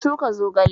Na shuka zogale